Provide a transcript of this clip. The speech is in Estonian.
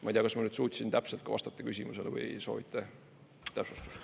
Ma ei tea, kas ma suutsin täpselt vastata küsimusele või soovite täpsustust.